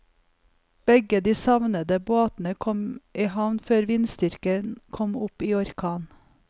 Begge de savnede båtene kom i havn før vindstyrken kom opp i orkan.